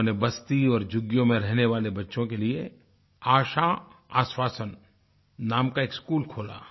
उन्होंने बस्ती और झुग्गियों में रहने वाले बच्चों के लिए आशा आश्वासन नाम का एक स्कूल खोला